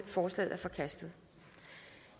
forslaget er forkastet